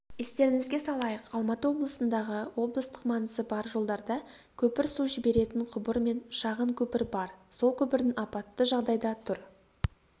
естеріңізге салайық алматы облысындағы облыстық маңызы бар жолдарда көпір су жіберетін құбыр мен шағын көпір бар сол көпірдің апатты жағдайда тұр